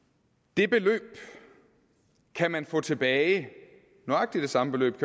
det beløb kan man få tilbage nøjagtig det samme beløb